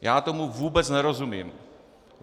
Já tomu vůbec nerozumím.